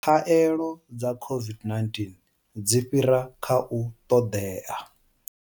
Khaelo dza COVID-19 dzi fhira kha u ṱoḓea.